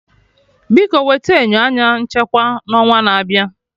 Biko wete enyo anya nchekwa na onwa na abịa